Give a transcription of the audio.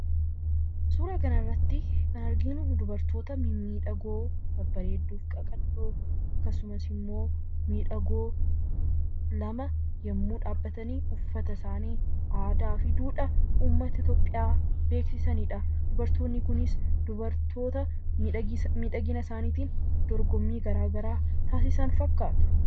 Suuraa kanarratti kan arginu dubartoota mimmiidhagoo, babbareedoofi qaqal'oo lama yommuu dhaabbatanii uffata isaanii aadaa fi duudhaa uummata Itoophiyaa beeksisanidha. Dubartoonni kunis dubartoota miidhagina isaaniitiin dorgommii gara garaa taasisan fakkaatu.